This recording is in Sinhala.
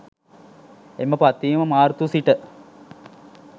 එම පත්වීම මාර්තු සිට